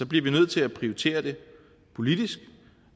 bliver vi nødt til at prioritere det politisk